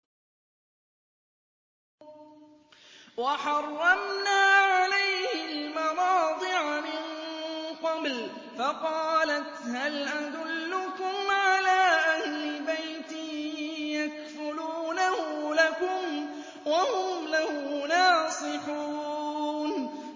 ۞ وَحَرَّمْنَا عَلَيْهِ الْمَرَاضِعَ مِن قَبْلُ فَقَالَتْ هَلْ أَدُلُّكُمْ عَلَىٰ أَهْلِ بَيْتٍ يَكْفُلُونَهُ لَكُمْ وَهُمْ لَهُ نَاصِحُونَ